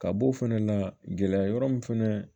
Ka b'o fɛnɛ la gɛlɛya yɔrɔ min fɛnɛ